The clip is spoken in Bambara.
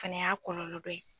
Fana y'a kɔlɔlɔ dɔ ye.